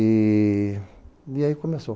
E aí começou.